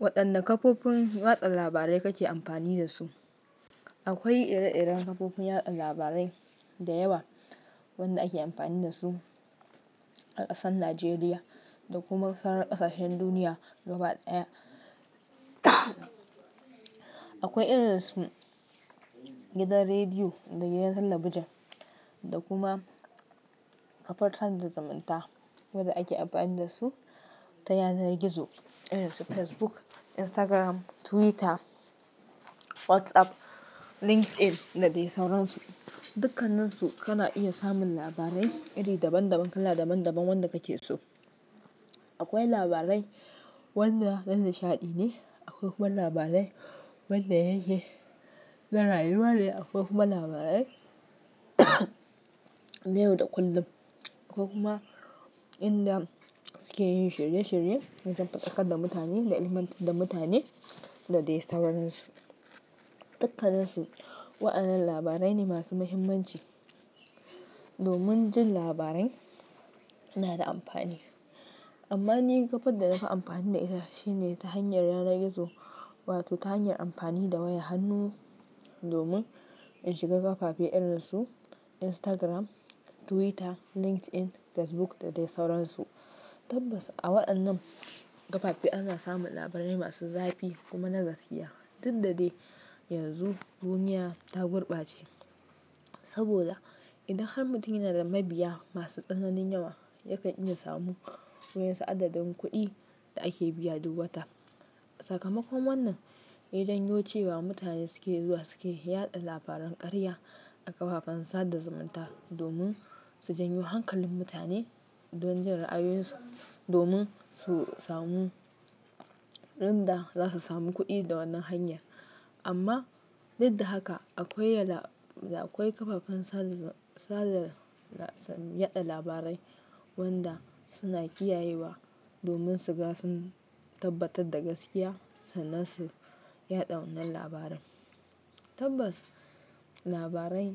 Wadanne kafofin watsa labarai kake amfani da su akwai ire-iren kafofin yaɗa labarai da yawa wanda ake amfani da su a ƙasar Najeriya da kuma kar ƙasashen duniya gabaɗaya. Akwai irin su gidan rediyo da gidan talabijin, da kuma kafar sada zumunta wadda ake amfani da su ta yanar gizo irin su Facebook, Instagram, Twitter, WhatsApp, LinkedIn da dai sauransu. Dukkannin su kana iya samun labarai iri daban-daban, kala daban-daban wanda kake so. Akwai labarai wanda na nishaɗi ne, akwai kuma labarai wanda ya yi na rayuwa ne. Akwai kuma labarai na yau da kullum. Akwai kuma inda suke yin shirye-shirye na jan faɗakar da mutane da ilmantar da mutane da dai sauransu. Dukkan nin su wa'yannan labarai ne masu mahimmanci domin jin labarai na da amfani. Amma ni kafar da nafi amfani da ita shine ta hanyar yanar gizo wato ta hanyar amfani da wayar hannu domin in shiga kafafe irin su Instagram, Twitter, LinkedIn, Facebook da dai sauransu. Tabbas a wa'yannan kafafe ana samun labarai masu zafi kuma na gaskiya. Inda dai yanzu duniya ta gurbace. Saboda idan har mutum yana da mabiya masu tsananin yawa, yakan iya samu wa'yasu adadin kuɗi da ake biya duk wata. Sakamakon wannan, ya janyo cewa mutane suke zuwa suke yaɗa labaran ƙarya a kafafen sada zumunta domin su janyo hankalin mutane don jin ra'ayoyinsu domin su samu inda za su samu kuɗi da wannan hanyar. Amma didda haka akwai yala da akwai kafafen sada zum, sada la-- yaɗa labarai wanda suna kiyayewa domin su ga sun tabbatar da gaskiya sannan su yaɗa wannan labarin. Tabbas, labarai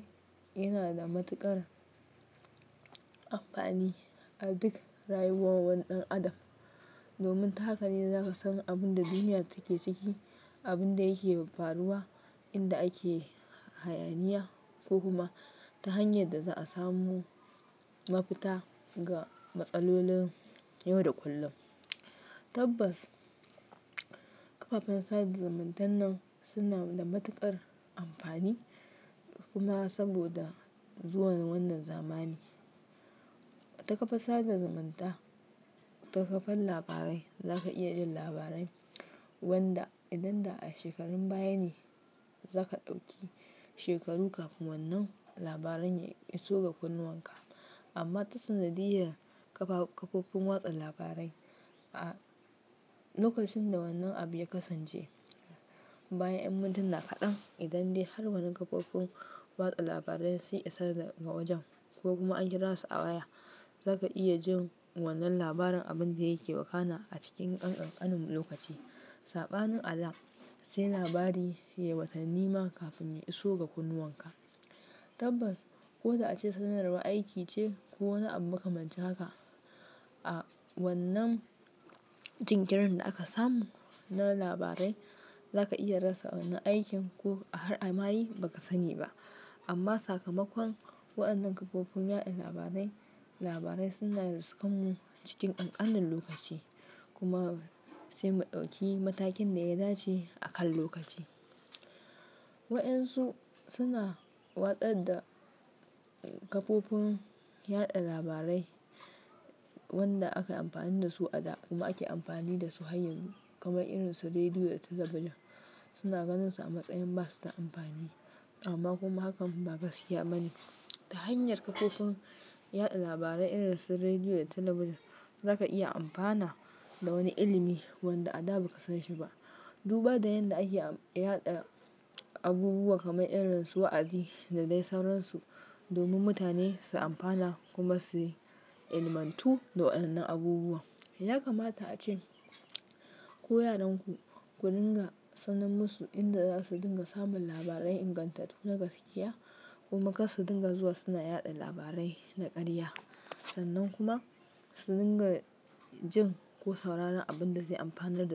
yana da matuƙar amfani a duk rayuwar wani ɗan adam. Domin ta haka ne zaka san abun da duniya take ciki, abun da yake faruwa, inda ake hayaniya ko kuma ta hanyar da za a samu mafita ga matsalolin yau da kullun. Tabbas, kafafen sada zumuntan nan suna da matuƙar amfani kuma saboda zuwan wannan zamani. Wata kafar sada zumunta, wata kafar labarai zaka iya jin labarai wanda idan da a shekarun baya ne zaka ɗauki shekaru kafin wannan labaran ya iso ga kunnuwan ka. Amma ta sanadiyar kafa-kafofin watsa labarai a, a lokacin da wannan abu ya kasance bayan 'yan mintuna kaɗan, idan dai har wannan kafofin watsa labarai sun isa daga wajen ko kuma an kira su a waya, zaka iya jin wannan labarin abin da yake wakana a cikin kan ƙanƙanin lokaci. Saɓanin alam sai labari ya yi watanni ma kafin ya iso ga kunnuwan ka. Tabbas, ko da ace sanarwar aiki ce ko wani abu makamancin haka, a wannan jinkirin da aka samu na labarai zaka iya rasa wannan aikin ko har a mayi ba ka sani ba. Amma sakamakon waɗannan kafofin yaɗa labarai, labarai suna riskan mu cikin ƙanƙanin lokaci kuma sai mu ɗauki matakin da ya dace a kan lokaci. Wa'yansu suna watsar da kafofin yaɗa labarai wanda aka yi amfani da su a da kuma ake amfani da su har yanzu kamar irin su rediyo da talabijin suna ganin su a matsayin ba su da amfani. Amma kuma hakan ba gaskiya ba ne. Ta hanyar kafofin yaɗa labarai irin su rediyo da talabijin zaka iya amfana da wani ilimi wanda a da ba ka san shi ba. Duba da yanda ake ab yada abubuwa kamar irin su wa'azi da dai sauran su domin mutane su amfana kuma su ilimantu da wa'yannan abubuwan ya kamata ace. Ko yaran ku, ku dinga sanar musu inda za su dinga samun labarai ingantattu na gaskiya kuma kar su dinga zuwa suna yaɗa labarai na ƙarya. Sannan kuma su dinga jin ko sauraron abin da zai amfanar da.